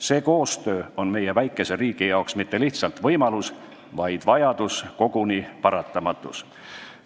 See koostöö on meie väikese riigi jaoks mitte lihtsalt võimalus, vaid vajadus, koguni paratamatus.